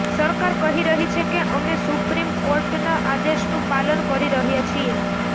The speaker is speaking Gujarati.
સરકાર કહી રહી છે કે અમે સુપ્રીમકોર્ટના આદેશનું પાલન કરી રહ્યા છીએ